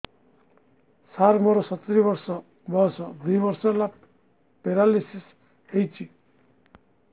ସାର ମୋର ସତୂରୀ ବର୍ଷ ବୟସ ଦୁଇ ବର୍ଷ ହେଲା ପେରାଲିଶିଶ ହେଇଚି